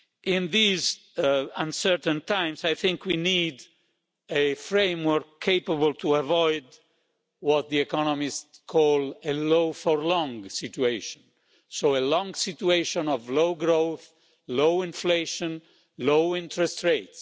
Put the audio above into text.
In these uncertain times, I think we need a framework capable of avoiding what economists call a low for long' situation a long situation of low growth, low inflation, low interest rate.